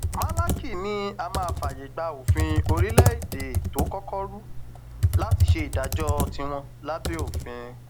málákì ni á máa fààyè gba òfin orílẹèdè tó kọkọ rú láti ṣe ìdájọ tiwọn lábẹ òfin